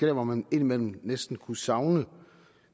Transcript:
hvor man indimellem næsten kunne savne